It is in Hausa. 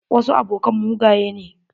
Wasu abokan mugaye ne.